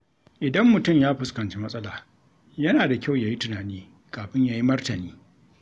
Idan mutum ya fuskanci matsala, yana da kyau ya yi tunani kafin ya yi martani.